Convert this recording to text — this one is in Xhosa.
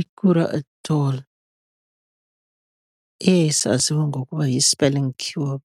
I-Kure Atoll, eyayisaziwa ngokuba yi-spelling Cure